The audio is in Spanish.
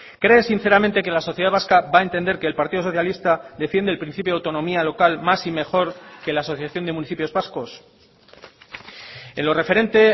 cree sinceramente que la sociedad vasca va a entender que el partido socialista defiende el principio de autonomía local más y mejor que la asociación de municipios vascos en lo referente